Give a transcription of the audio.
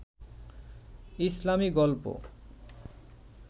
ইসলামী গল্প